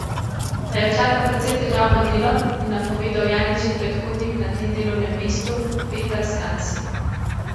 Da jo čaka precej težavno delo, je napovedal Janičin predhodnik na tem delovnem mestu Petar Skansi.